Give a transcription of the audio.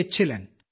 Ezhilan